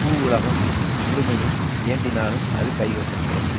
பூவுலகம் முழுமையும் வேண்டினாலும் அது கைவசப்படும்